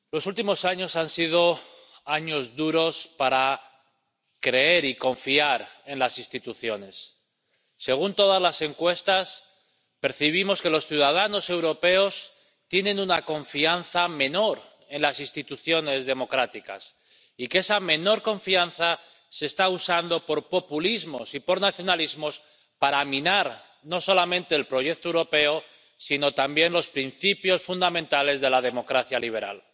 Señora presidenta, los últimos años han sido años duros para creer y confiar en las instituciones. Según todas las encuestas, percibimos que los ciudadanos europeos tienen una confianza menor en las instituciones democráticas y que esa menor confianza está siendo usada por populismos y por nacionalismos para minar no solamente el proyecto europeo, sino también los principios fundamentales de la democracia liberal.